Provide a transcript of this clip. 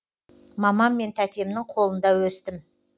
мамам мен тәтемнің қолында өстім